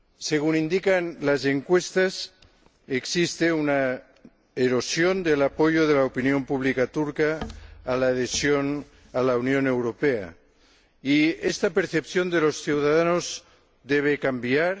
Según indican las encuestas, existe una erosión del apoyo de la opinión pública turca a la adhesión a la Unión Europea y esta percepción de los ciudadanos debe cambiar.